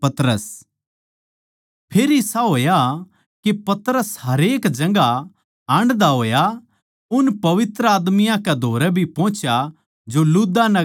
फेर इसा होया के पतरस हरेक जगहां हांडदा होया उन पवित्र आदमियाँ कै धोरै भी पोहुच्या जो लुद्दा नगर म्ह रहवैं थे